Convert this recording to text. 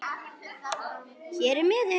Hér er miðinn